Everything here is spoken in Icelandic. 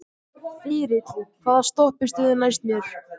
Þyrill, hvaða stoppistöð er næst mér?